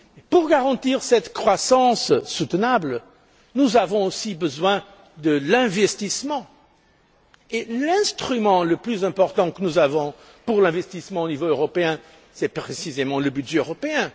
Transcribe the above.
Pour garantir cette croissance durable, nous avons aussi besoin de l'investissement, et l'instrument le plus important dont nous disposons pour l'investissement au niveau européen, c'est précisément le budget européen.